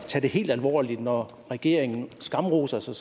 tage det helt alvorligt når regeringen skamroser sig